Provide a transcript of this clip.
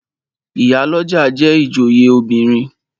Ìyálọ́jà jẹ́ ìjòyè obìnrin.